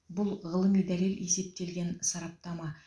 бұл ғылыми дәлел есептелген сараптама